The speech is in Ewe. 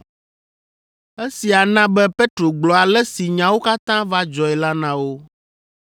Esia na be Petro gblɔ ale si nyawo katã va dzɔe la na wo.